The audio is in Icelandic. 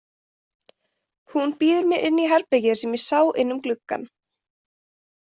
Hún býður mér inn í herbergið sem ég sá inn um gluggann.